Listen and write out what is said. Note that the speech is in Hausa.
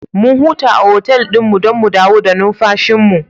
Mun huta a otal ɗin don mu dawo da numfashinmu.